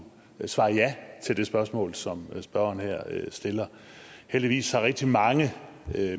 svare ja til det spørgsmål som spørgeren her stiller heldigvis har rigtig mange